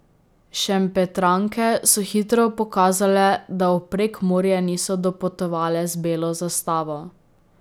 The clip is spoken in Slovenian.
Šempetranke so hitro pokazale, da v Prekmurje niso dopotovale z belo zastavo.